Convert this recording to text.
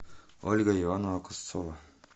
ольга ивановна кусцова